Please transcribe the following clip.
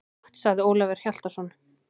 Gott, sagði Ólafur Hjaltason.